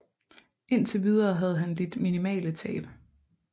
Indtil videre havde han lidt minimale tab